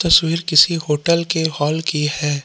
तस्वीर किसी होटल के हाल की है।